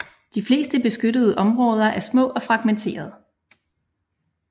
De fleste beskyttede områder er små og fragmenterede